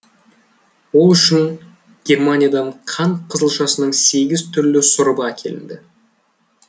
ол үшін германиядан қант қызылшасының сегіз түрлі сұрыбы әкелінді